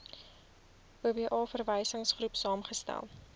oba verwysingsgroep saamgestel